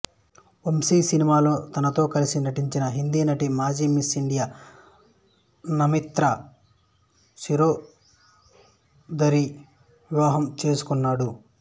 వంశీ సినిమాలో తనతో కలసి నటించిన హిందీ నటి మాజీ మిస్ ఇండియా నమ్రతా శిరోద్కర్ని వివాహం చేసుకున్నాడు